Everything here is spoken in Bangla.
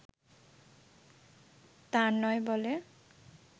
তার নয় বলে